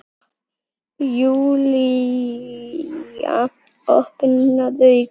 Júlía opnar augun.